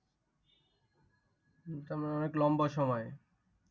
তার মানে অনেক লম্বা সময়।